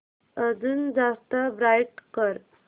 अजून जास्त ब्राईट कर